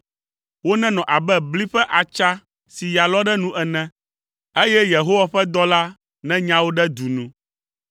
Wonenɔ abe bli ƒe atsa si ya lɔ ɖe nu ene, eye Yehowa ƒe dɔla nenya wo ɖe du nu;